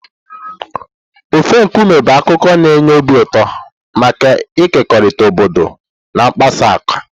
Ofe nkume bụ akụkọ na-enye obi ụtọ maka ịkekọrịta obodo na mmesapụ aka.